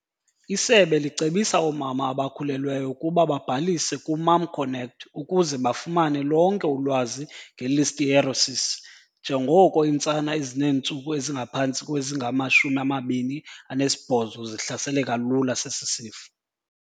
Isebe licebisa oomama abakhulelweyo ukuba babhalise ku-MomConnect ukuze bafumane lonke ulwazi nge-Listeriosis njengoko iintsana ezineentsuku ezingaphantsi kwezingama-28 zihlaseleka lula sesi sifo.